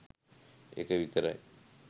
එක විතරයි